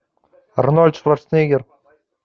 арнольд шварценеггер